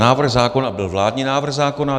Návrh zákona byl vládní návrh zákona.